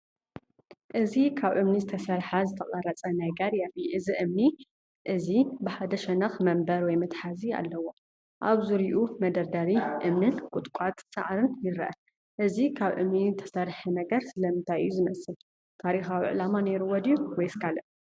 እዚ ካብ እምኒ ዝተሰርሐ ዝተቐርጸ ነገር የርኢ። እዚ እምኒ እዚ ብሓደ ሸነኽ መንበር ወይ መትሓዚ ኣለዎ። ኣብ ዙርያኡ መደርደሪ እምንን ቁጥቋጥ ሳዕርን ይርአ። እዚ ካብ እምኒ እተሰርሐ ነገር ስለምንታይ እዩ ዝመስል? ታሪኻዊ ዕላማ ነይርዎ ድዩ ወይስ ካልእ?